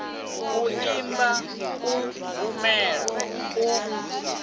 u imba u bvumela u